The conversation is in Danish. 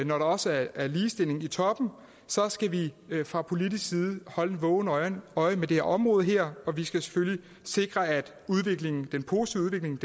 når der også er ligestilling i toppen skal vi fra politisk side holde et vågent øje øje med det område her og vi skal selvfølgelig sikre at den positive udvikling